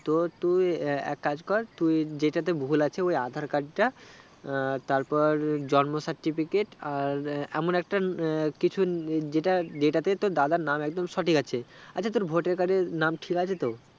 তো তুই এএক কাজ কর জেতাতে ভুল আছে ওই aadhar card টা আহ তারপর জন্ম certificate আর এমন একটা কিছু যেটাতে তোর দাদার নাম একদম সঠিক আছে, আছে তোর voter card এ নাম ঠিক আছে তো